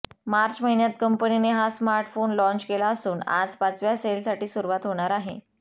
मार्च महिन्यात कंपनीने हा स्मार्टफोन लॉन्च केला असून आज पाचव्या सेलसाठी सुरुवात होणार आहे